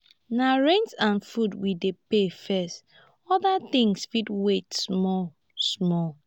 na rent and food we dey pay first oda tins fit wait small. small.